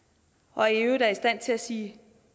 og i øvrigt er i stand til at sige